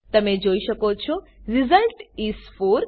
તમે જોઈ શકો છો રિઝલ્ટ ઇસ 4